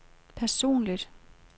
personligt